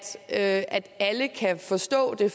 at alle kan forstå det